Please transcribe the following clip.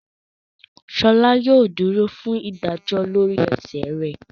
Sola yóò dúrò fún ìdájọ lórí ẹṣẹ rẹ